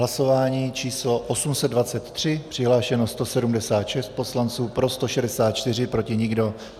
Hlasování číslo 823, přihlášeno 176 poslanců, pro 164, proti nikdo.